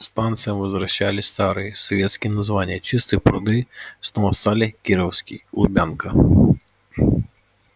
станциям возвращали старые советские названия чистые пруды снова стали кировской лубянка